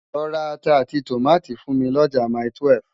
Lò rá àtá áti tómátó fún mi lòjá máitúèf